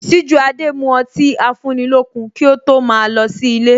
Sijuade mu ọtí afúnilókun kí ó tó ma lọ sí ilé